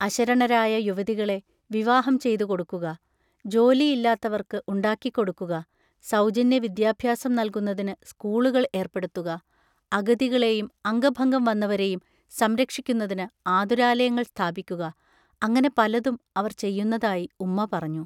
അശരണരായ യുവതികളെ വിവാഹം ചെയ്തു കൊടുക്കുക; ജോലിയില്ലാത്തവർക്കു ഉണ്ടാക്കിക്കൊടുക്കുക, സൗജന്യ വിദ്യാഭ്യാസം നൽകുന്നതിന് സ്കൂളുകൾ ഏർപ്പെടുത്തുക; അഗതികളെയും അംഗഭംഗം വന്നവരെയും സംരക്ഷിക്കുന്നതിന് ആതുരാലയങ്ങൾ സ്ഥാപിക്കുക-അങ്ങനെ പലതും അവർ ചെയ്യുന്നതായി ഉമ്മാ പറഞ്ഞു.